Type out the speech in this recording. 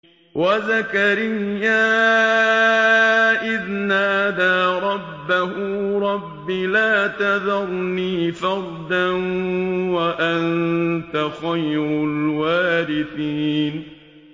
وَزَكَرِيَّا إِذْ نَادَىٰ رَبَّهُ رَبِّ لَا تَذَرْنِي فَرْدًا وَأَنتَ خَيْرُ الْوَارِثِينَ